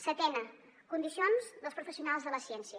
setena condicions dels professionals de la ciència